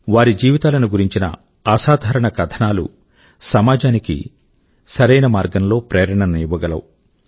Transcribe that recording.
వారి జీవితాల గురించిన అసాధారణ కథనాలు సమాజానికి సరైన మార్గం లో ప్రేరణను ఇవ్వగలవు